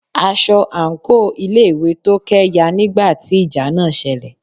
aṣọ àńkò ilé ìwé Tókẹ́ ya nígbà tí ìjà náà selẹ̀.